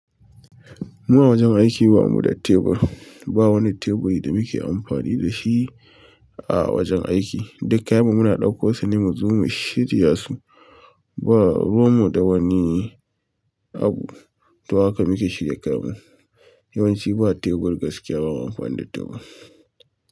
Mu a wajen aiki ba mu da tebur. Ba wani tebur da muke amfani da shi a wajen aiki. Duk kayab mu muna daukan su ne mu je mu shirya su ba ruwan mu da wani abu, don haka muke shirya kayan mu. Yawanci ba tebur gaskiya ba mu amfani da tebur.